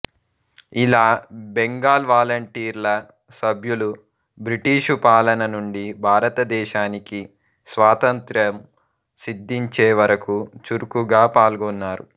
ఇలా బెంగాల్ వాలంటీర్ల సభ్యులు బ్రిటిషు పాలన నుండి భారతదేశానికి స్వాతంత్ర్యం సిద్ధించే వరకు చురుకుగా పాల్గొన్నారు